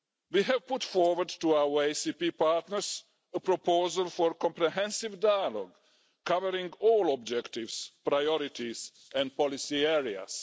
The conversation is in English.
We have put forward to our ACP partners a proposal for comprehensive dialogue covering all objectives, priorities and policy areas.